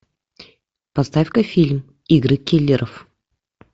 поставь ка фильм игры киллеров